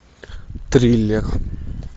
триллер